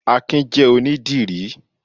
Akin jẹ́ onídìrí